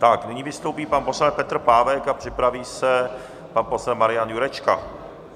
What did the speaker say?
Tak nyní vystoupí pan poslanec Petr Pávek a připraví se pan poslanec Marian Jurečka.